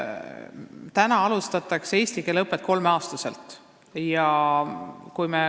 Täna alustatakse eesti keele õpet kolmeaastaselt.